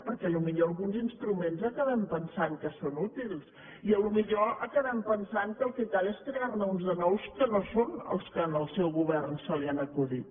perquè potser alguns instruments acabem pensant que són útils i potser acabem pensant que el que cal és crear ne uns de nous que no són els que al seu govern se li han acudit